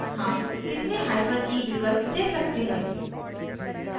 how कितने hyphen e विकल्प दे सकते हैं